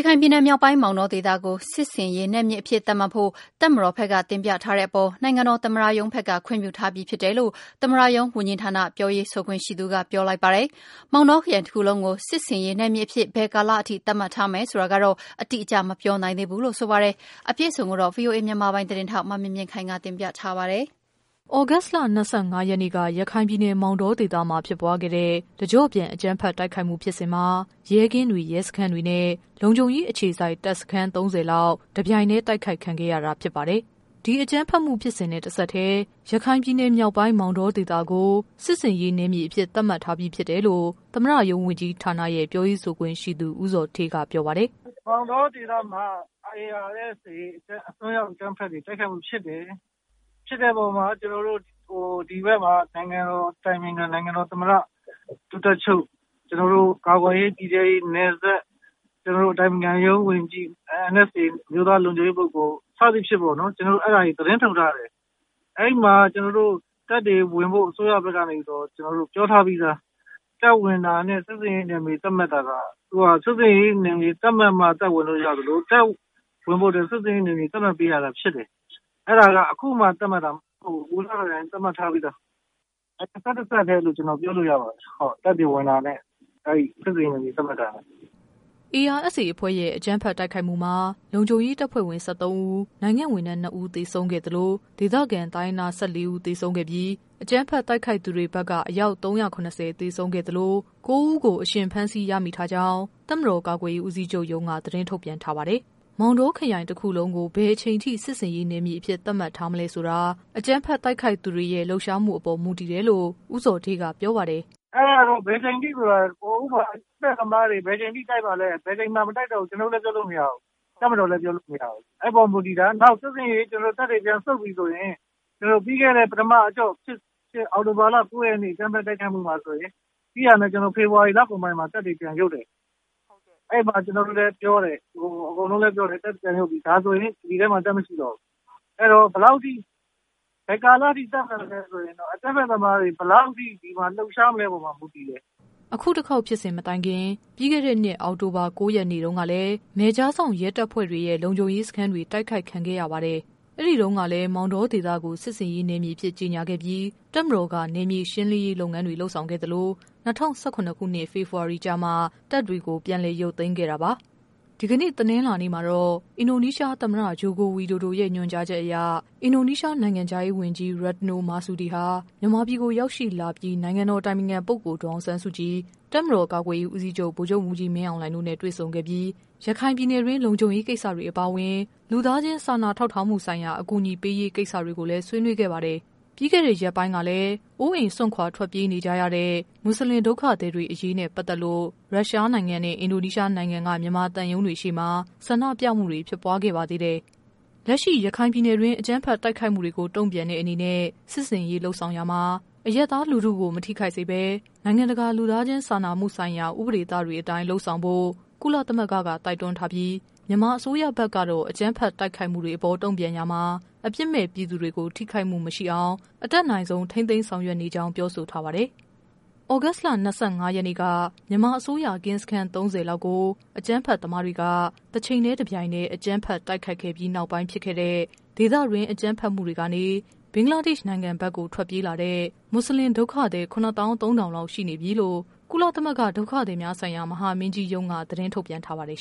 ရခိုင်ပြည်နယ်မြောက်ပိုင်း မောင်တော ဒေသကို စစ်ဆင်ရေးနယ်မြေအဖြစ် သတ်မှတ်ဖို့ တပ်မတော် ဘက်က တင်ပြထားမှုအပေါ် နိုင်ငံတော် သမ္မတရုံးဘက်က ခွင့်ပြုထားပြီးဖြစ်တယ်လို့ သမ္မတရုံး ဝန်ကြီး ဌာန ပြောရေးဆိုခွင့်ရှိသူက ပြောလိုက်ပါတယ်။ မောင်တော ခရိုင်တခုလုံးကို စစ်ဆင်ရေးနယ်မြေအဖြစ် ဘယ်ကာလအထိ သတ်မှတ်ထားမယ်ဆိုတာတော့ အတိအကျ မပြောနိုင်သေးဘူးလို့ ဆိုပါတယ်။ သ တင်း အပြည့်အစုံကိုတော့ ဗွီအိုအေ မြန်မာပိုင်း သတင်းထောက် မမြင့်မြင့်ခိုင်က တင်ပြပေးပါမယ်။ သြဂုတ်လ ၂၅ရက်နေ့က ရခိုင်ပြည်နယ် မောင်တောဒေသမှာ ဖြစ်ပွားခဲ့တဲ့ တကျော့ပြန် အကြမ်းဖက် တိုက်ခိုက်မှု ဖြစ်စဉ်မှာ ရဲကင်းတွေ၊ ရဲစခန်းတွေနဲ့ လုံခြုံရေးအခြေစိုက် တပ်စခန်း ၃၀လောက် တပြိုင် တည်းတိုက်ခိုက်ခံခဲ့ရတာ ဖြစ်ပါတယ်။ ဒီ အကြမ်းဖက်မှုဖြစ်စဉ်နဲ့ တဆက်တည်း ရခိုင်ပြည်နယ် မြောက်ပိုင်း မောင်တောဒေသကို စစ်ဆင်ရေး နယ်မြေအဖြစ် သတ်မှတ်ထားပြီးဖြစ်တယ်လို့ သမ္မတရုံးဝန်ကြီးဌာနရဲ့ ပြောရေးဆိုခွင့်ရှိသူ ဦးဇော်ဌေးက ပြောပါတယ်။ “မောင်တောဒေသမှာ ARSA တွေရဲ့အစွန်းရောက်အကြမ်းဖက်တိုက်ခိုက်မှုဖြစ်တယ်။ ဖြစ်တဲ့အပေါ်မှာ ကျနော်တို့ ဒီဘက်မှာ နိုင်ငံတော်အတိုင်ပင်ခံ၊ နိုင်ငံတော်သမ္မတ ၊ ဒု-တပ်ချုပ် ကျနော်တို့ ကာကွယ်ရေး ပြည်ထဲရေး၊ နယ်စပ် ၊ ကျနော်တို့ အတိုင်ပင်ခံရုံးဝန်ကြီး၊ NSA အမျိုးသားလုံခြုံရေးပုဂ္ဂိုလ် စသဖြင့်ပေါ့နော် ကျနေ်ာတို့ အဲဒါတွေသတင်းထုတ်ထားတယ်။ အဲဒီမှာ ကျနော်တို့ တပ်တွေဝင်ဖို့ အစိုးရဘက်ကနေပြီးတော့ ပြောထားပြီးသား တပ်ဝင်တာနဲ့ စစ်ဆင်ရေးနယ်မြေသတ်မှတ်တာက ၊ စစ်ဆင်ရေးနယ်မြေသတ်မှတ်မှ တပ်ဝင်လို့ရသလို တပ်ဝင်ဖို့အတွက် စစ်ဆင်ရေးနယ်မြေသတ်မှတ်ပေးရတာရှိတယ်။ အဲဒါက အခုမှသတ်မှတ်တာမဟုတ်ဘူး။ ဟိုကတည်းက သတ်မှတ်ထားပြီးသား တဆက်တည်းလို့ ကျနော်တို့ပြောလို့ရပါတယ် တပ်ဝင်တာနဲ့ စစ်ဆင်ရေးနယ်မြေသတ်မှတ်တာ။” ARSA အဖွဲ့ရဲ့ အကြမ်းဖက် တိုက်ခိုက်မှုမှာ လုံခြုံရေး တပ်ဖွဲ့ဝင် ၁၃ဦး၊ နိုင်ငံ့ဝန်ထမ်း ၂ ဦး သေဆုံးခဲ့သလို ဒေသခံ တိုင်းရင်းသား ၁၄ဦး သေဆုံးခဲ့ပြီး အကြမ်းဖက်တိုက်ခိုက်သူတွေဘက်က အယောက် ၃၇၀ကို သေဆုံးခဲ့သလို ၉ဦးကို အရှင် ဖမ်းဆီးရမိထားကြောင်း တပ်မတေ်ာ ကာကွယ်ရေး ဦးစီးချုပ်ရုံးက သတင်း ထုတ်ပြန်ထားပါတယ်။ မောင်တောခရိုင်တခုလုံးကို ဘယ်အချိန်အထိ စစ်ဆေးရေးနယ်မြေအဖြစ် သတ်မှတ်ထားမလဲဆိုတာ အကြမ်းဖက် တိုက်ခိုက်သူတွေရဲ့ လှုပ်ရှားမှုအပေါ် မူတည်တယ်လို့ ဦးဇော်ဌေးက ပြောပါတယ်။ “အဲဒါက ဘယ်အချိန်အထိဆိုတာက အကြမ်းဖက်သမားတွေ ဘယ်အချိန်အထိတိုက်မှာလည်း ဘယ်အချိန်မှာမတိုက်တော့ဘူး ကျနော်တို့လည်းပြောလို့မရဘူး၊ တပ်မတော်လည်းပြောလို့မရဘူး။ အဲဒီအပေါ်မူတည်တယ်။ နောက်စစ်ဆင်ရေး တပ်တွေပြန်ဆုတ်ပြီဆိုရင် ပြီးခဲ့တဲ့ ပထမအကြော့ဖြစ်ဖြစ် အောက်တိုဘာလ ၉ ရက်နေ့ အကြမ်းဖက်တိုက်ခိုက်မှုမှာဆိုရင် ပြီးတာနဲ့ ကျနော်တို့ ဖေဖော်ဝါရီလကုန်ပိုင်းမှာ ပြန်ရုပ်တယ်။ အဲဒီမှာ ကျနော်တို့လည်းပြောတယ်၊ အကုန်လုံးလည်းပြောတယ်။ အဲဒီမှာ ပြန်ရုပ်ပြီ ဒါဆိုရင် ဒီဒေသမှာ တပ်မရှိတော့ဘူး။ အဲဒီတော့ ဘယ်ကာလအထိ သတ်မှတ်မလဲဆိုရင်အကြမ်းဖက်သမားတွေ ဘယ်လောက်အထိ လှုပ်ရှားမလဲဆိုတဲ့အပေါ်မှာမူတည်တယ်။” အခု တခေါက် ဖြစ်စဉ်မတိုင်ခင် ပြီးခဲ့တဲ့နှစ် အောက်တိုဘာ ၉ ရက်နေ့တုန်းကလည်း နယ်ခြားစောင့် ရဲတပ်ဖွဲ့တွေရဲ့ လုံခြုံရေးစခန်းတွေ တိုက်ခိုက်ခံခဲ့ရပါတယ်။ အဲ့ဒီတုန်းကလည်း မောင်တောဒေသကို စစ်ဆင်ရေးနယ်မြေအဖြစ် ကြေညာခဲ့ပြီး တပ်မတော်က နယ်မြေရှင်းလင်းရေး လုပ်ငန်းတွေ လုပ်ဆောင် ခဲ့သလို ၂၀၁၇ ဖော်ဖေဝါရီကျမှ တပ်တွေ ပြန်လည် ရုပ်သိမ်းခဲ့တာပါ။ ဒီကနေ့ တနင်္လာနေ့ မှာတော့ အင်ဒိုနီးရှားသမ္မတ Joko Widodo ရဲ့ ညွှန်ကြားချက်အရ အင်ဒိုနီးရှား နိုင်ငံခြားရေးဝန်ကြီး Retno Marsudi ဟာ မြန်မာပြည်ကို ရောက်ရှိလာပြီး နိုင်ငံတော် အတိုင်ပင်ခံပုဂ္ဂိုလ် ဒေါ်အောင်ဆန်းစုကြည်၊ တပ်မတော် ကာကွယ်ရေးဦးစီးချုပ် ဗိုလ်ချုပ်မှူးကြီး မင်းအောင်လှိုင်တို့နဲ့ တွေ့ ဆုံခဲ့ပြီး ရခိုင်ပြည်နယ်တွင်း လုံခြုံရေးကိစ္စတွေ အပါအဝင် လူသားချင်း စာနာထောက်ထားမှု ဆိုင်ရာ အကူညီပေးရေးကိစ္စတွေကို ဆွေးနွေးခဲ့ပါတယ်။ ပြီးခဲ့တဲ့ရက်ပိုင်းကလည်း အိုးအိမ်စွန့်ခွာ ထွက်ပြေးနေကြရတဲ့ မွတ်ဆလင် ဒုက္ခသည်တွေ အရေးနဲ့ ပတ် သက်လို့ ရုရှားနိုင်ငံနဲ့အင်ဒိုနီးရှားနိုင်ငံက မြန်မာသံရုံးတွေရှေ့မှာ ဆန္ဒပြမှုတွေဖြစ်ပွားခဲ့ပါသေးတယ်။ လက်ရှိ ရခိုင် ပြည်နယ်တွင်း အကြမ်းဖက်တိုက်ခိုက်မှုကို တုံ့ပြန်တဲ့အနေနဲ့ စစ်ဆင်ရေး လုပ်ဆောင်ရာမှာ အရပ်သား လူထုကို မထိခိုက်စေဘဲ နိုင်ငံတကာ လူသားချင်း စာနာမှုဆိုင်ရာ ဥပဒေသတွေအတိုင်း လုပ်ဆောင်ဖို့ ကုလသမဂ္ဂကတော့ တိုက်တွန်းထားပြီး မြန်မာအစိုးရဖက်ကတော့ အကြမ်းဖက် တိုက်ခိုက်မှုတွေ အပေါ် တုံ့ပြန်ရာမှာ အပြစ်မဲ့ပြည်သူတွေ ထိခိုက်မှု မရှိအောင် အတတ်နိုင်ဆုံး ထိန်းသိမ်း ဆောင်ရွက် နေကြောင်း ပြောဆိုထားပါတယ်။ သြဂုတ်လ ၂၅ ရက်နေ့က မြန်မာ အစိုးရ ကင်းစခန်း ၃၀ လောက်ကို အကြမ်းဖက်သမားတွေက တချိန်တည်း တပြိုင်တည်း အကြမ်းဖက် တိုက်ခိုက်ခဲ့ပြီးနောက်ပိုင်း ဖြစ်ခဲ့တဲ့ ဒေသတွင်း အကြမ်းဖက်မှု တွေကနေ ဘင်္ဂလားဒေရှ့် နိုင်ငံဘက်ကို ထွက်ပြေးလာတဲ့ မွတ်ဆလင် ဒုက္ခသည် ၇ သောင်း ၃ ထောင်လောက် ရှိနေပြီလို့ ကုလသမဂ္ဂ ဒုက္ခသည်များဆိုင်ရာ မဟာမင်းကြီးရုံးက သတင်းထုတ်ပြန် ထားပါတယ်